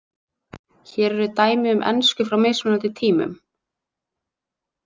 Hér eru dæmi um ensku frá mismunandi tímum.